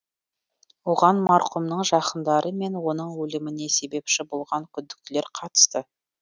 оған марқұмның жақындары мен оның өліміне себепші болған күдіктілер қатысты